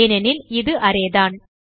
ஏனெனில் இது அரே தான்